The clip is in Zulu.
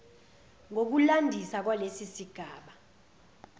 ngokulandisa kwalesi sigaba